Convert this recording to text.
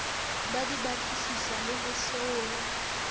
di batlisiswe le ho salwa